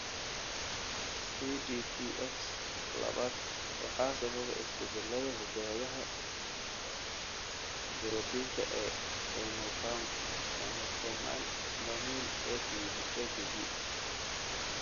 CDPX labaad waxaa sababa isbeddellada hidda-wadaha borotiinka ee emopamil, EBP.